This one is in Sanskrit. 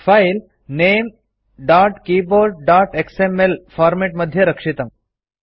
फाइल ltnamegtkeyboardएक्सएमएल फ़ॉर्मेट मध्ये रक्षितम्